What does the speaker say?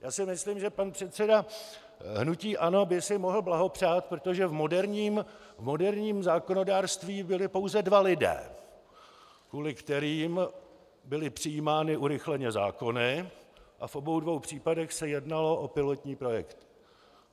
Já si myslím, že pan předseda hnutí ANO by si mohl blahopřát, protože v moderním zákonodárství byli pouze dva lidé, kvůli kterým byly přijímány urychleně zákony, a v obou dvou případech se jednalo o pilotní projekty.